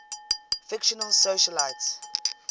fictional socialites